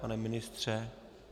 Pane ministře?